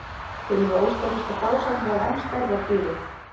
Til eru óstaðfestar frásagnir af enn stærri dýrum.